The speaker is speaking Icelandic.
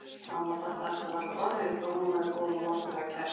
Mamma og Dadda áttu varla orð yfir hvað hún væri góð og mátulega kæst.